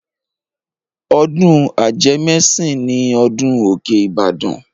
Ọdún ajẹmẹ́sìn ni ọdún Òkè Ìbàdàn.